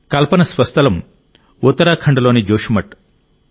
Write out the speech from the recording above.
కల్పన స్వస్థలం ఉత్తరాఖండ్లోని జోషిమఠ్